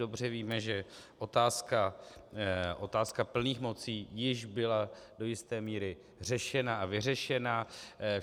Dobře víme, že otázka plných mocí již byla do jisté míry řešena a vyřešena.